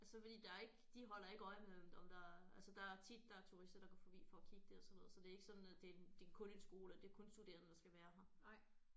Og så fordi der er ikke de holder ikke øje med om om der altså der er tit der er turister der går forbi for at kigge det og sådan noget så det er ikke sådan at det det er kun en skole og det er kun studerende der skal være her